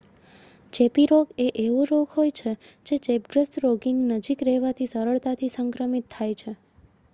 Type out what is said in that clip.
ચેપી રોગ એ એવો રોગ હોય છે જે ચેપગ્રસ્ત રોગીની નજીક રહેવાથી સરળતાથી સંક્રમિત થાય છે